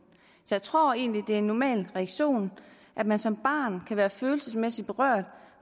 så jeg tror egentlig det er en normal reaktion at man som barn kan være følelsesmæssigt berørt